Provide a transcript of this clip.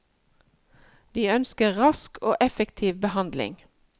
De ønsker rask og effektiv behandling.